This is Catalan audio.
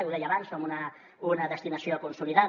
ho deia abans som una destinació consolidada